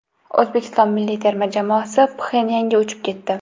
O‘zbekiston milliy terma jamoasi Pxenyanga uchib ketdi.